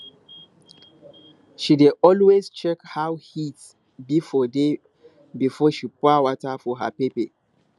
she dey always check how heat be for day before she pour water for her pepper